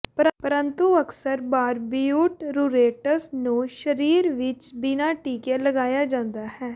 ਪਰੰਤੂ ਅਕਸਰ ਬਾਰਬਿਊਟਰੂਰੇਟਸ ਨੂੰ ਸਰੀਰ ਵਿੱਚ ਬਿਨਾਂ ਟੀਕੇ ਲਗਾਇਆ ਜਾਂਦਾ ਹੈ